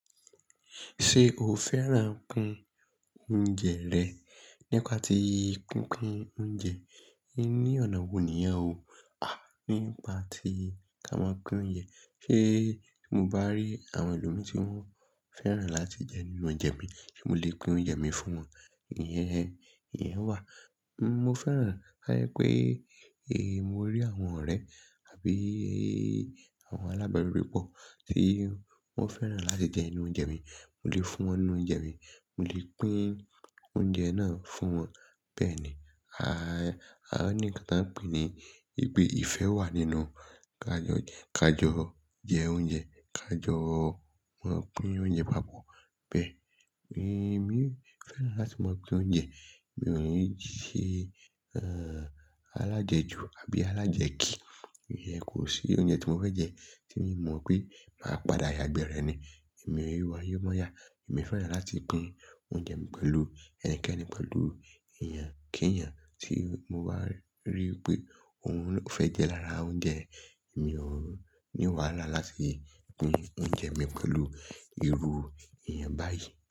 Ṣé o fẹ́ràn kun oúnjẹ rẹ nípa ti kukún oúnjẹ ní ọ̀nà wò níyen o? Nípa tí ka máa kun oúnjẹ. Ṣé tí mo bá rí àwọn ẹlòmí tí wọ́n fẹ́ràn láti jẹ inú oúnjẹ mi, ṣe mo lè pín oúnjẹ mi fún wọn? Iyẹn, iyẹn wà. Mo fẹ́ràn, ayẹ pé mo rí àwọn ọ̀rẹ́ àbí àwọn alábarí repọ̀ tí wọ́n fẹ́ràn láti jẹ inú oúnjẹ mi, mo lè fún wọn inú oúnjẹ mi, mo lè pín oúnjẹ náà fún wọn. Bẹ́ẹ̀ ni. A ní nǹkan tí a ń pè ní i pè ìfẹ́ wà nínú ka jọ, ka jọ jẹ oúnjẹ, ka jọ máa pín oúnjẹ pápọ̀. Bẹ́ẹ̀. Èmi, mi ò fẹ́ràn láti máa pín oúnjẹ. Mi ò ní sẹ, ẹ́ń, alájẹjù àbí alájẹ̀kì. Iyẹn kò sí oúnjẹ tí mo fẹ́ jẹ tí mi mọ̀ pé máa padà yagbẹ̀ rẹ ni. Èmi o n wáye móyà. Èmi fẹ́ràn láti pín oúnjẹ mi pẹ̀lú ẹnikẹ́ni pẹ̀lú èèyàn. Kí èèyàn tí mo bá rí pé òhun fẹ́ jẹ lára oúnjẹ mi, mi o ni wàhálà láti pín oúnjẹ mi pẹ̀lú irú èèyàn báyìí.